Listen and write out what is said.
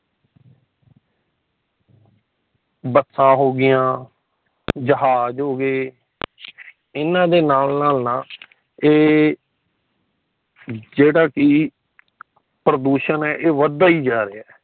ਬੱਸਾਂ ਹੋ ਗਿਆ ਜਹਾਜ਼ ਹੋ ਗਏ ਏਨਾ ਦੇ ਨਾਲ ਨਾਲ ਨਾ ਏ ਜੇੜਾ ਕਿ ਪ੍ਰਦੂਸ਼ਣ ਹੈ ਵਦਦਾ ਹੀ ਜਾ ਰਹਿਆ